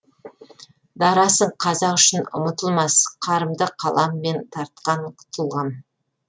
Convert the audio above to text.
дарасың қазақ үшін ұмытылмас қарымды қаламымен тартқан тұлғам